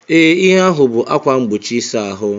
Ee, ihe ahụ bụ ákwà mgbochi ịsa ahụ.